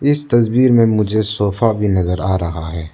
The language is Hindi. इस तस्वीर में मुझे सोफा भी नजर आ रहा है।